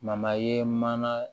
ye mana